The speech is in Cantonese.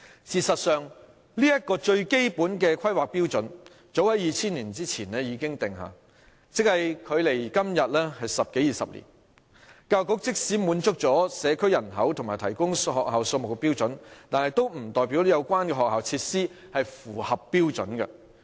事實上，這個最基本的規劃標準早於2000年以前已經訂下，即距今十多二十年，教育局即使滿足了社區人口與提供學校數目的標準，也不代表有關的學校設施是符合標準的。